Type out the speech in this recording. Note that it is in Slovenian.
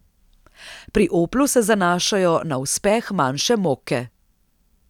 Pri Oplu se zanašajo na uspeh manjše mokke.